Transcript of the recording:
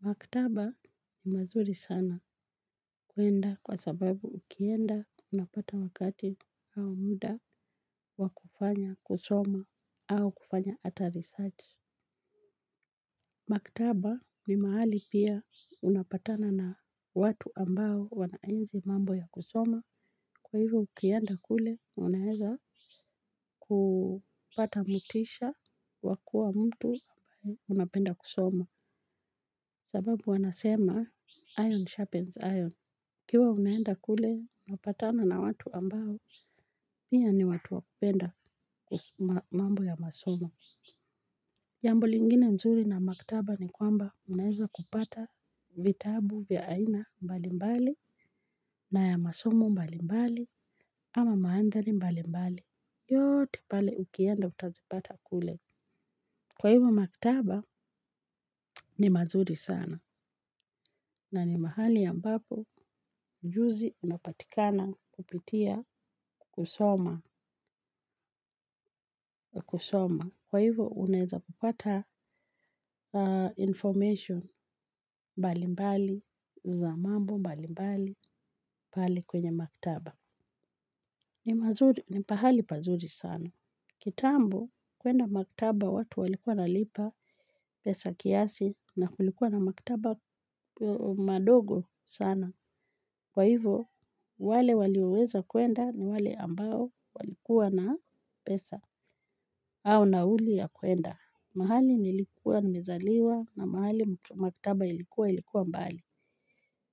Maktaba ni mazuri sana kuenda kwa sababu ukienda unapata wakati au muda wa kufanya kusoma au kufanya ata research. Maktaba ni mahali pia unapatana na watu ambao wanaenzi mambo ya kusoma. Kwa hivyo ukienda kule unaeza kupata motisha wakua mtu ambaye unapenda kusoma. Sababu wanasema iron sharpens iron. Ukiwa umeenda kule, unapatana na watu ambao, pia ni watu wakupenda kusoma mambo ya masomo. Jambo lingine nzuri na maktaba ni kwamba unaeza kupata vitabu vya aina mbali mbali na ya masomo mbali mbali ama maandari mbali mbali. Yote pale ukienda utazipata kule. Kwa hivyo maktaba, ni mazuri sana. Na ni mahali ambapo ujuzi unapatikana kupitia kusoma. Kwa hivyo, uneza kupata information mbali mbali, za mambo mbali mbali, pale kwenye maktaba. Ni mazuri, ni pahali pazuri sana. Kitambo, kwenda maktaba watu walikuwa wanalipa, pesa kiasi, na kulikuwa na maktaba madogo sana. Kwa hivyo, wale walioweza kwenda ni wale ambao walikuwa na pesa. Au nauli ya kwenda. Mahali nilikuwa nimezaliwa na mahali maktaba ilikuwa ilikuwa mbali.